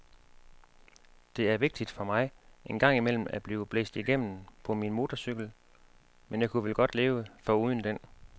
Det er vigtigt for mig en gang imellem at blive blæst igennem på min motorcykel, men jeg ku vel godt leve foruden den.